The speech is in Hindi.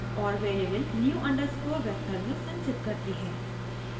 और वेरिएबल new अंडरस्कोर vector में संचित करती है